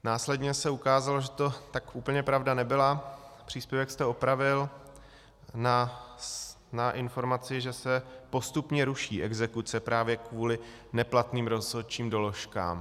Následně se ukázalo, že to tak úplně pravda nebyla, příspěvek jste opravil na informaci, že se postupně ruší exekuce právě kvůli neplatným rozhodčím doložkám.